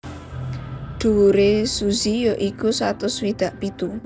Dhuwure Suzy ya iku satus swidak pitu